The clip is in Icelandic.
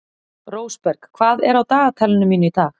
Rósberg, hvað er á dagatalinu mínu í dag?